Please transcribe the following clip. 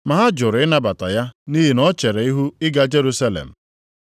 ma ha jụrụ ịnabata ya nʼihi na o chere ihu ịga Jerusalem.